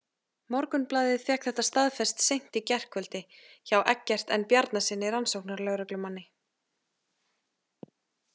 Morgunblaðið fékk þetta staðfest seint í gærkvöldi hjá Eggert N Bjarnasyni rannsóknarlögreglumanni.